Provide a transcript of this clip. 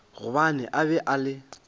gobane a be a le